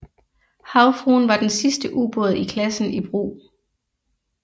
Havfruen var den sidste ubåd i klassen i brug